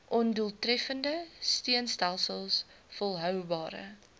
ondoeltreffende steunstelsels volhoubare